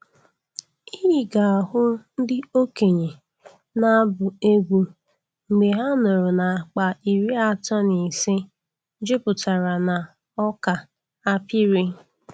Ị ga-ahụ ndị okenye na-abụ egwu mgbe ha nụrụ na akpa iri atọ na ise juputara na ọka a pịrị.